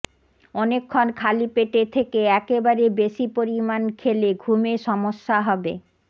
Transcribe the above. অনেকক্ষণ খালি পেটে থেকে একবারে বেশি পরিমাণ খেলে ঘুমে সমস্যা হবে